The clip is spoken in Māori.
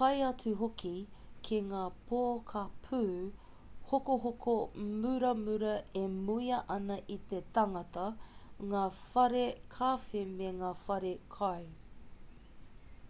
tae atu hoki ki ngā pokapū hokohoko muramura e muia ana e te tangata ngā whare kawhe me ngā whare kai